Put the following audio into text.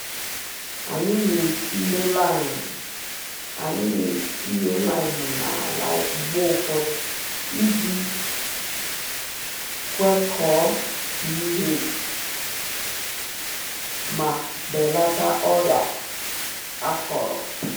Anyị na-etinye lime Anyị na-etinye lime n’ala mgbe ụfọdụ iji Kwekọọ pH ma belata ọrịa akọrọ